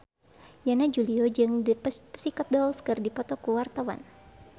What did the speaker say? Yana Julio jeung The Pussycat Dolls keur dipoto ku wartawan